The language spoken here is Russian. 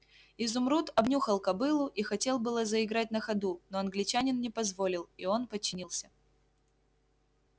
изумруд обнюхал кобылу и хотел было заиграть на ходу но англичанин не позволил и он подчинился